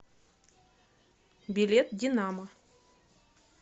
билет динамо